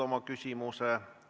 Aitäh küsimuse eest!